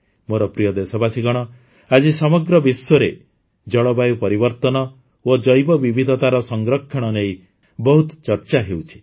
ମୋର ପ୍ରିୟ ଦେଶବାସୀଗଣ ଆଜି ସମଗ୍ର ବିଶ୍ୱରେ ଜଳବାୟୁ ପରିବର୍ତନ ଓ ଜୈବବିବିଧତାର ସଂରକ୍ଷଣ ନେଇ ବହୁତ ଚର୍ଚ୍ଚା ହେଉଛି